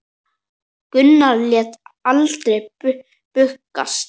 Gunnar lét aldrei bugast.